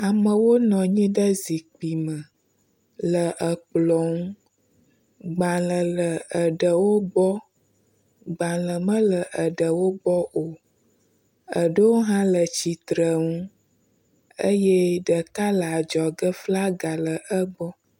Amewo nɔ anyi ɖe zikpui me le ekplɔ ŋu. Gbalẽ le aɖewo gbɔ, gbalẽ mele aɖewo gbɔ o. Aɖewo hã le tsitre ŋu eye ɖeka le adzɔge flagi le egbɔ